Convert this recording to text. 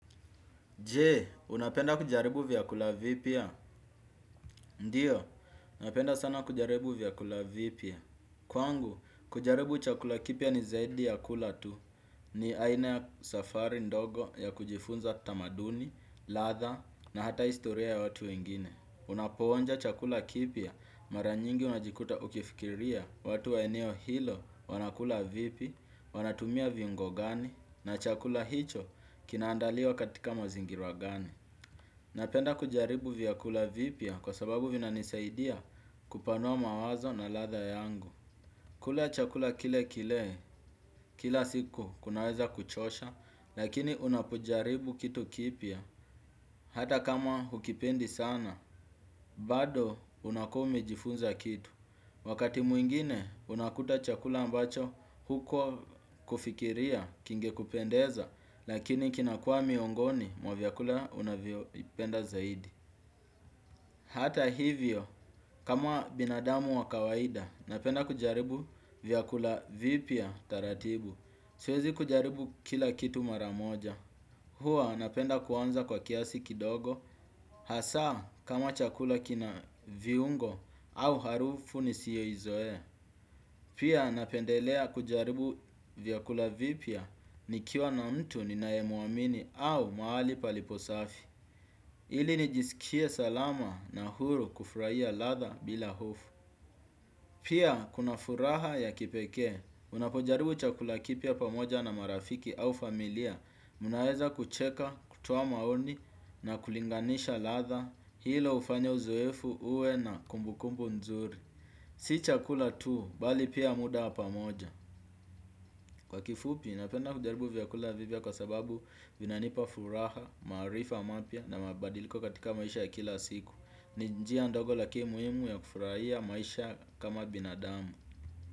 Je unapenda kujaribu vyakula vipya. Ndio napenda sana kujaribu vyakula vipya. Kwangu kujaribu chakula kipya ni zaidi ya kula tu ni aina ya safari ndogo ya kujifunza tamaduni ladha na hata historia ya watu wengine. Unapoonja chakula kipya mara nyingi unajikuta ukifikiria watu wa eneo hilo wanakula vipi wanatumia viungo gani na chakula hicho kina andaliwa katika mazingira gani. Napenda kujaribu vyakula vipya kwa sababu vina nisaidia kupanua mawazo na ladha yangu. Kula chakula kile kile kila siku kunaweza kuchosha lakini unapojaribu kitu kipya. Hata kama hukipendi sana bado unakuwa umejifunza kitu. Wakati mwingine unakuta chakula ambacho hukuwa kufikiria kingekupendeza lakini kinakua miongoni mwa vyakula unavyoipenda zaidi. Hata hivyo kama binadamu wa kawaida napenda kujaribu vyakula vipya taratibu. Siwezi kujaribu kila kitu mara moja. Hua napenda kuanza kwa kiasi kidogo hasa kama chakula kina viungo au harufu nisio izoea. Pia napendelea kujaribu vyakula vipya nikiwa na mtu ninae mwamini au mahali palipo safi. Ili nijisikie salama na huru kufurahia ladha bila hofu. Pia kuna furaha ya kipekee. Unapojaribu chakula kipya pamoja na marafiki au familia mnaweza kucheka kutoa maoni na kulinganisha ladha hilo hufanya uzoefu uwe na kumbukumbu nzuri. Si chakula tu bali pia muda pamoja kwa kifupi napenda kujaribu vyakula vipya kwa sababu vinanipa furaha maarifa mapya na mabadiliko katika maisha ya kila siku ni njia ndogo lakimi muhimu ya kufurahia maisha kama binadamu.